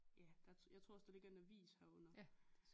Ja der jeg tror også der ligger en avis herunder